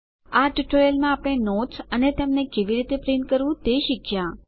આ ટ્યુટોરીયલ માં આપણે નોટ્સ અને તેમને કેવી રીતે પ્રિન્ટ કરવું તે શીખ્યા